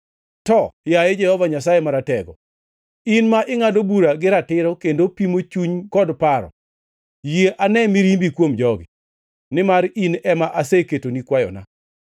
To, yaye Jehova Nyasaye Maratego, in ma ingʼado bura gi ratiro kendo pimo chuny kod paro, yie ane mirimbi kuom jogi, nimar in ema aseketoni kwayona.